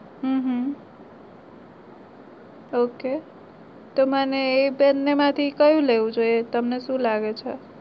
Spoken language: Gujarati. હમ હં એ બંને માંથી કયું લેવું જોઈએ તમને શું લાગે છે?